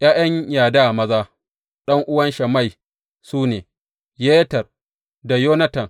’Ya’yan Yada maza, ɗan’uwan Shammai su ne, Yeter da Yonatan.